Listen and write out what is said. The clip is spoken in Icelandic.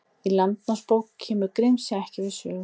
Í Landnámabók kemur Grímsey ekki við sögu.